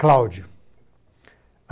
Cláudio.